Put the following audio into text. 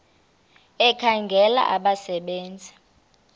ekhangela abasebe nzi